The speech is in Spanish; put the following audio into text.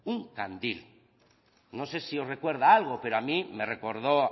un candil no sé si os recuerda a algo pero a mí me recordó